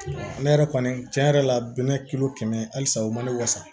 Ne yɛrɛ kɔni tiɲɛ yɛrɛ la bɛnɛ kilo kɛmɛ halisa u man ne wasa